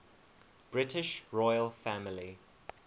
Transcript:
british royal family